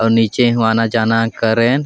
आव नीचे हो आना जाना करेन।